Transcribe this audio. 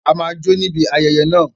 A máa jó níbi ayẹyẹ náà